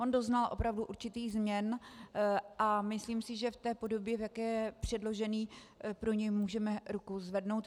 On doznal opravdu určitých změn a myslím si, že v té podobě, v jaké je předložený, pro něj můžeme ruku zvednout.